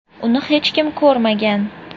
Uni hech kim ko‘rmagan.